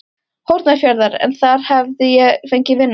Hornafjarðar, en þar hafði ég fengið vinnu.